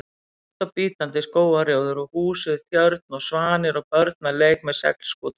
hægt og bítandi: skógarrjóður og hús við tjörn, svanir og börn að leik með seglskútu.